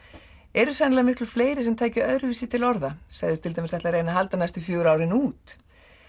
eru sennilega fleiri sem taka öðruvísi til orða segist til dæmis ætla að reyna að halda næstu fjögur árin út